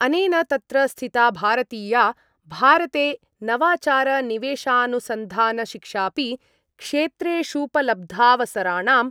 अनेन तत्र स्थिता भारतीया भारते नवाचारनिवेशानुसन्धानशिक्षापि क्षेत्रेषूपलब्धावसराणां